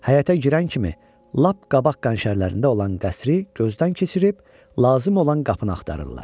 Həyətə girən kimi lap qabaq qənşərlərində olan qəsri gözdən keçirib, lazım olan qapını axtarırlar.